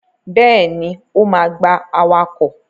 Bẹ́ẹ̀ni, ó ma gba awakọ̀.